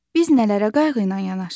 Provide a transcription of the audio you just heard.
Biz nələrə qayğı ilə yanaşırıq?